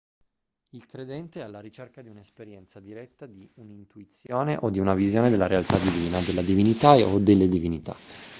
il credente è alla ricerca di un'esperienza diretta di un'intuizione o di una visione della realtà divina della divinità o delle divinità